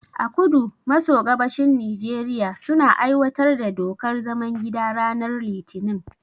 A kudu maso gabashin Nijeriya, suna aiwatar da dokar zaman gida ranar litinin.